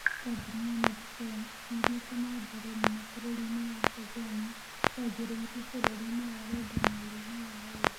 Kambuni ya nextdoor nĩ ĩthiĩte na mbere mũno bũrũrinĩ wa Tanzania, yanjĩrĩirio bũrũri-nĩ wa Rwanda mweri-inĩ wa ĩrĩ.